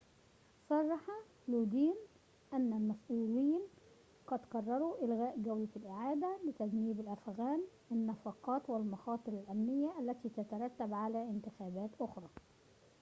صرح لودين أن المسؤولين قد قرروا إلغاء جولة الإعادة لتجنيب الأفغان النفقات والمخاطر الأمنية التي تترتب على انتخابات أخرى